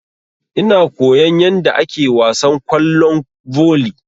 Ina koyan yadda ake wasan kwallon volley.